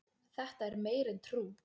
Þetta er meira en trú